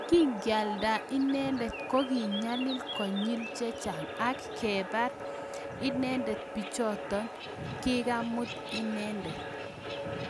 Kingealdaa inendet ko kikinyalil konyil chechang ak kebar inendet pichotok kikemuut inendeet